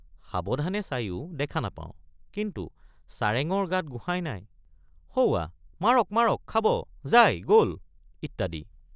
সাৱধানে চায়ো দেখা নাপাওঁকিন্তু চাৰেঙৰ গাত গোসাঁই নাই সৌৱা মাৰক মাৰক খাব যায় গল ইত্যাদি।